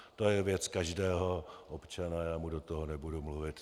To je věc každého občana, já mu do toho nebudu mluvit.